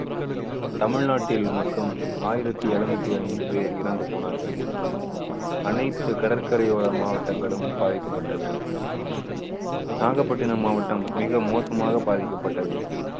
தமிழ்நாட்டில் மட்டும் ஆயிரத்து எழுநூத்தி ஐந்து பேர் இறந்து போனார்கள். அனைத்து கடற்கரையோர மாவட்டங்களும் பாதிக்கப்பட்டன. நாகப்பட்டினம் மாவட்டம் மிக மோசமாக பாதிக்கப்பட்டது.